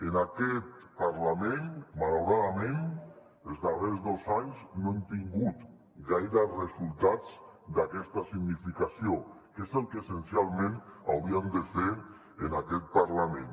en aquest parlament malauradament els darrers dos anys no hem tingut gaires resultats d’aquesta significació que és el que essencialment hauríem de fer en aquest parlament